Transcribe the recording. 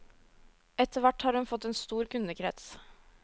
Etterhvert har hun fått en stor kundekrets.